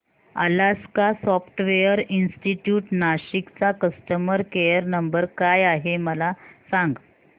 Alaska software institute Nashik चा customer care number काय आहे मला सांग